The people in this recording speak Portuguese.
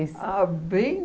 Ah, bem